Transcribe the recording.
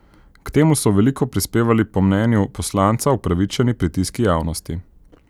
K temu so veliko prispevali po mnenju poslanca upravičeni pritiski javnosti.